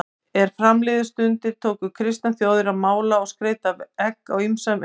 Er fram liðu stundir tóku kristnar þjóðir að mála og skreyta egg á ýmsan veg.